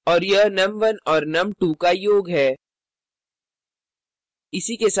और यह num1 और num2 का योग है